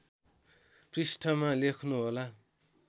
पृष्ठमा लेख्नुहोला